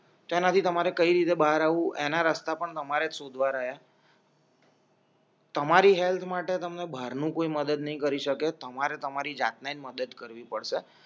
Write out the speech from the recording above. જેનાથી તમારે કઈ રીતે બહાર આવું એના રસ્તા પણ તમારેજ શોધવા રયા તમારી હેલ્થ માટે તમે બાર નું કોઈ મદદ નહીં કરી શકે તમારે તમારી જાતને મદદ કરવી પડશે